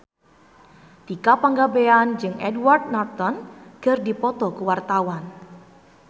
Tika Pangabean jeung Edward Norton keur dipoto ku wartawan